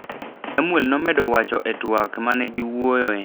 Samwel nomedo wacho e twak mane giwuoyoe.